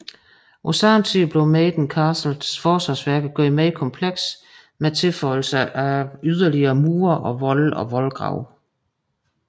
På samme tid blev Maiden Castles forsvarsværker gjort mere komplekse med tilføjelse af yderligere mure og volde og voldgrave